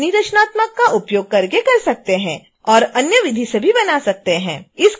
आप अपनी रचनात्मकता का उपयोग कर सकते हैं और अन्य विधि से भी बना सकते हैं